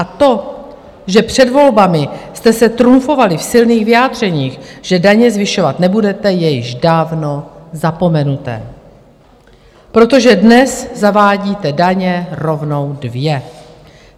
A to, že před volbami jste se trumfovali v silných vyjádřeních, že daně zvyšovat nebudete, je již dávno zapomenuto, protože dnes zavádíte daně rovnou dvě.